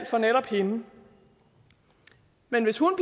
for netop hende men hvis hun